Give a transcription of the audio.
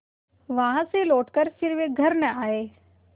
वहाँ से लौटकर फिर वे घर न आये